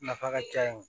Nafa ka ca yen